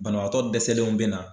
Banabaatɔ dɛsɛlenw bɛ na